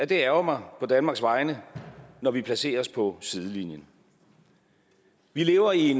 det ærgrer mig på danmarks vegne når vi placerer os på sidelinjen vi lever i